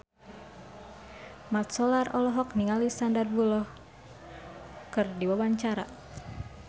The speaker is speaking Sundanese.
Mat Solar olohok ningali Sandar Bullock keur diwawancara